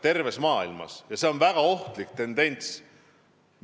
Nende olemasolu on väga ohtlik tendents.